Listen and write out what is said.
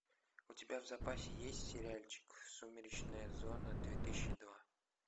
у тебя в запасе есть сериальчик сумеречная зона две тысячи два